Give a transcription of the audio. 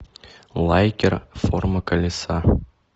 лайкер форма колеса